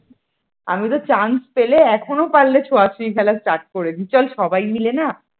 আমি তো chance পেলে এখনো পারলে ছোঁয়াছুঁয়ি খেলা start করে দিই সবাই মিলে না